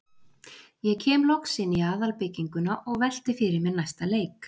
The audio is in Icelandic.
Ég kem loks inn í aðalbygginguna og velti fyrir mér næsta leik.